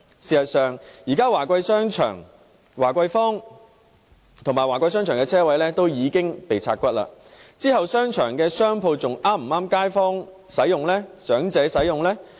事實上，現時在名為華貴坊的華貴商場內的車位已經被"拆骨"，日後商場的商鋪是否還適合街坊和長者使用呢？